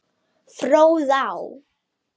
Fróðá